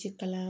Ci kalan